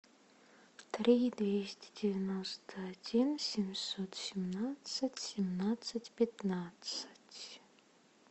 три двести девяносто один семьсот семнадцать семнадцать пятнадцать